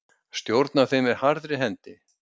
Stjórnar þeim með harðri hendi.